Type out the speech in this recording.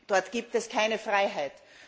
dort gibt es keine Freiheit.